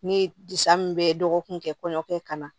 Ni disa min bɛ dɔgɔkun kɛ kɔɲɔkɛ ka na